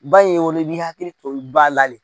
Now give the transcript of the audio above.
Ba in ye woloi bi hakili to ba la le.